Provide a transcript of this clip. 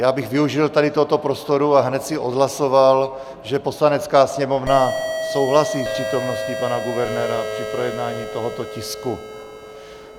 Já bych využil tady tohoto prostoru a hned si odhlasoval, že Poslanecká sněmovna souhlasí s přítomností pana guvernéra při projednávání tohoto tisku.